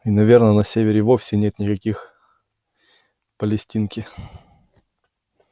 и наверно на севере вовсе и нет никаких палестинки